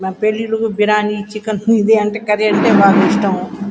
మరి పెళ్ళిలుకి బిరాని చికెన్ ఇది అంటే కర్రీ అంటే బాగా ఇష్టము.